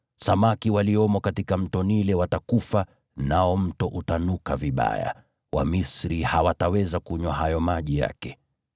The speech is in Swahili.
Samaki waliomo katika Mto Naili watakufa, nao mto utanuka vibaya, Wamisri hawataweza kunywa hayo maji yake.’ ”